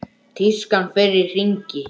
Tískan fer í hringi.